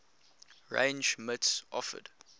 range mits offered